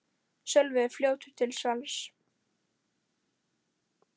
Sölvi er fljótur til svars.